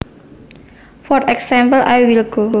For example I will go